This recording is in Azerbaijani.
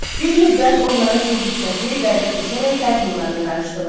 Bir müddət onların bir hissəsi qərbə köçərək qərb Hunlarına qarışdılar.